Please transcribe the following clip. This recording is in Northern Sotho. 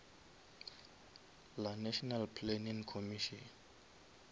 la national planning commission